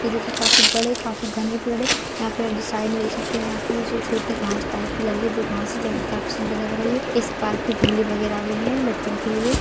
ये देखिये काफी बड़े काफी घने पेड़ है यहा पर आप साइड मे देख सकते है यहा पे जो छोटी घास टाइप के लगी है जो घास काफी सुन्दर लग रही है इस पार्क मे झुले वैगेरा भी है बच्चों के लिए।